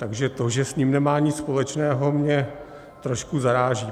Takže to, že s ním nemá nic společného, mě trošku zaráží.